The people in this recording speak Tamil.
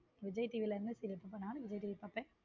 விஜய் TV ல என்ன serial போடுறான் விஜய் TV பாப்பேன்.